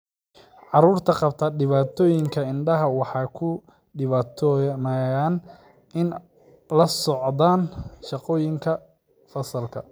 Carruurta qabta dhibaatooyinka indhaha waxay ku dhibtoonayaan inay la socdaan shaqooyinka fasalka.